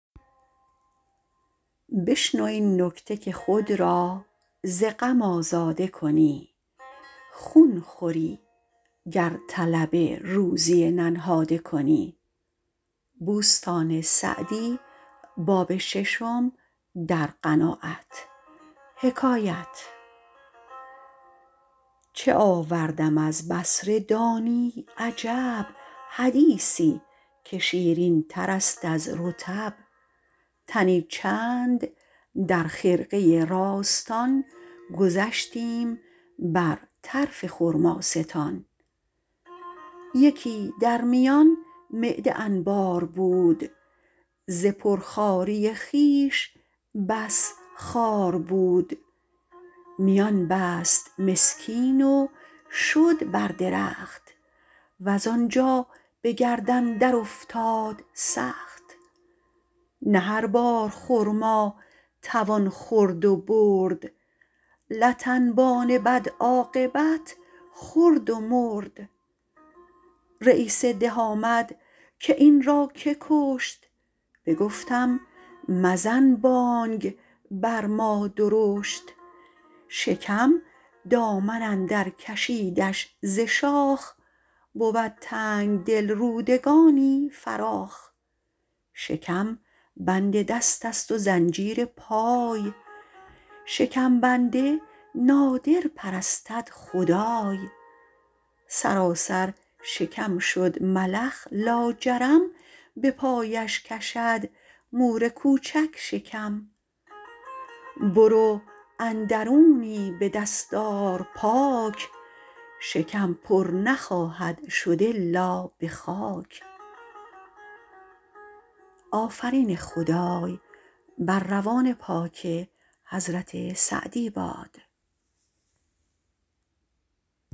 چه آوردم از بصره دانی عجب حدیثی که شیرین تر است از رطب تنی چند در خرقه راستان گذشتیم بر طرف خرماستان یکی در میان معده انبار بود ز پر خواری خویش بس خوار بود میان بست مسکین و شد بر درخت وز آنجا به گردن در افتاد سخت نه هر بار خرما توان خورد و برد لت انبان بد عاقبت خورد و مرد رییس ده آمد که این را که کشت بگفتم مزن بانگ بر ما درشت شکم دامن اندر کشیدش ز شاخ بود تنگدل رودگانی فراخ شکم بند دست است و زنجیر پای شکم بنده نادر پرستد خدای سراسر شکم شد ملخ لاجرم به پایش کشد مور کوچک شکم برو اندرونی به دست آر پاک شکم پر نخواهد شد الا به خاک